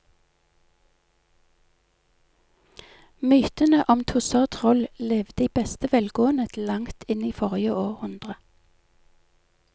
Mytene om tusser og troll levde i beste velgående til langt inn i forrige århundre.